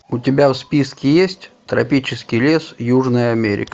у тебя в списке есть тропический лес южная америка